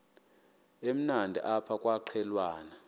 emnandi apha kwaqhelwana